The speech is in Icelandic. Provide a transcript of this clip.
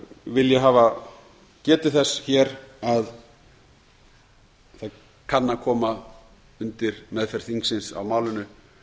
vil ég hafa getið þess hér að það kann að koma undir meðferð þingsins á málinu